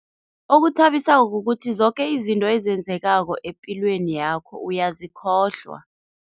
Okuthabisako kukuthi zoke izinto ezenzekako epilweni yakho uyazikhohlwa.